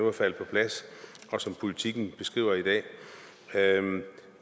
er faldet på plads og som politiken beskriver i dag